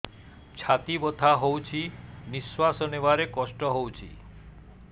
ଛାତି ବଥା ହଉଚି ନିଶ୍ୱାସ ନେବାରେ କଷ୍ଟ ହଉଚି